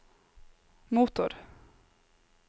motor